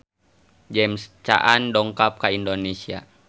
James Caan dongkap ka Indonesia